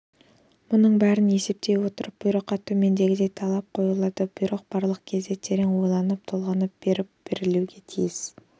мұның бәрін есептей отырып бұйрыққа төмендегідей талап қойылады бұйрық барлық кезде терең ойланып толғанып барып берілуге тиіс